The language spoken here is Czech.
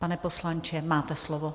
Pane poslanče, máte slovo.